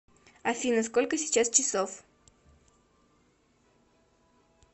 афина сколько сейчас часов